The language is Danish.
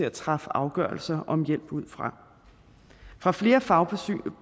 at træffe afgørelser om hjælp fra fra flere fagpersoner